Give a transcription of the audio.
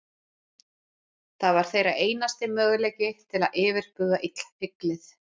Það var þeirra einasti möguleiki til að yfirbuga illfyglið.